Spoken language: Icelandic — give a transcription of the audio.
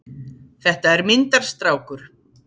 Þetta er myndarstrákur.